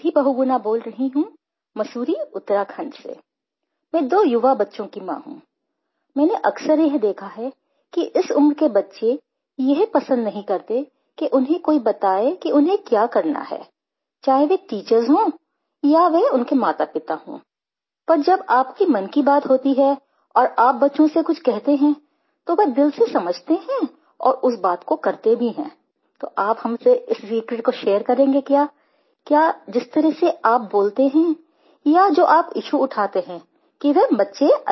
PHONE CALL 3 NIDHI BAHUGUNA